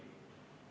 Kas nii või?